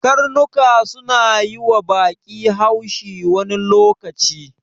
Karnuka suna yiwa baƙi haushi wani lokaci.